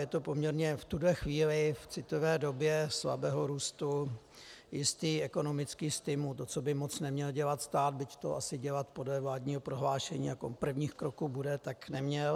Je to poměrně v tuto chvíli, v citlivé době slabého růstu, jistý ekonomický stimul, to, co by moc neměl dělat stát, byť to asi dělat podle vládního prohlášení jako prvních kroků bude, tak neměl.